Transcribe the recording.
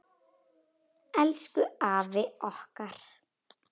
Elsku afi okkar.